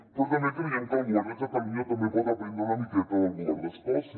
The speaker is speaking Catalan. però també creiem que el govern de catalunya també pot aprendre una miqueta del govern d’escòcia